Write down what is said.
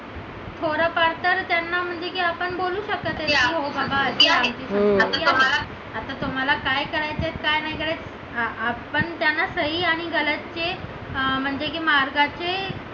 थोडाफार तर त्यांना म्हणजे की आपण बोलू शकत आहे की हो बाबा आता तुम्हाला काय करायचे काय नाही करायचं आपण त्यांना सही आणि गलत जे म्हणजे की मार्गाचे